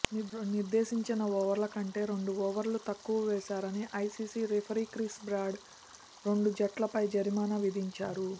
నిర్దేశించిన ఓవర్ల కంటే రెండు ఓవర్లు తక్కువ వేశారని ఐసీసీ రిఫరీ క్రిస్ బ్రాడ్ రెండు జట్లపై జరిమానా విధించారు